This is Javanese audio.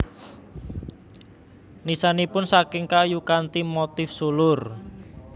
Nisanipun saking kayu kanthi motif sulur